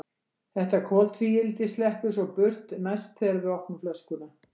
Þetta koltvíildi sleppur svo burt næst þegar við opnum flöskuna.